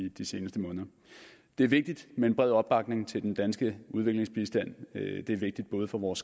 i de seneste måneder det er vigtigt med en bred opbakning til den danske udviklingsbistand det er vigtigt både for vores